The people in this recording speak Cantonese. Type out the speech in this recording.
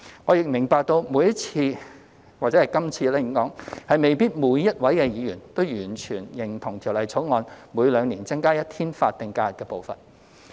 我亦明白每次——或應說是今次——未必每位議員都完全認同《條例草案》每兩年增加一天法定假日的步伐。